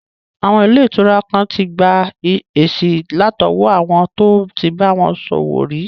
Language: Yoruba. Àwọn ilé ìtura kan tí gba èsì látọwọ́ àwọn tó tí bá wọn ṣòwò rí